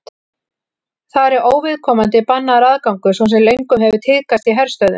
þar er óviðkomandi bannaður aðgangur svo sem löngum hefur tíðkast í herstöðvum